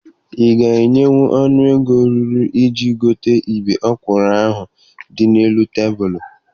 Ị ga-enwenwu ọnụ ego ruru iji gote ibe ọkwụrụ ahụ dị n'elu tebụlụ?